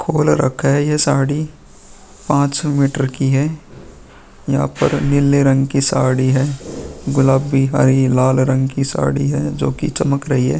खोल रखा है। ये साड़ी पाँच मीटर की है। यहाँ पर नीले रंग की साड़ी है। गुलाबी हरी लाल रंग की साड़ी है जोकि चमक रही है।